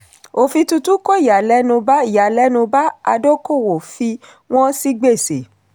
òfin tuntun kó ìyàlẹ́nu bá ìyàlẹ́nu bá adókòwò fi wọ́n sí gbèsè.